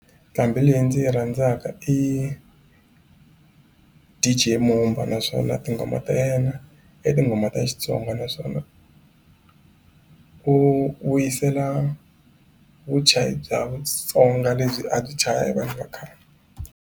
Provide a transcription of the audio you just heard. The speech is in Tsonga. Nqambhi leyi ndzi yi rhandzaka i DJ Mumba naswona tinghoma ta yena i tinghoma ta Xitsonga naswona u vuyisela vuchayi bya Vatsonga lebyi a byi chaya hi vanhu va khale.